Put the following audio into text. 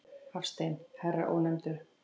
Hafstein, herra Ónefndur.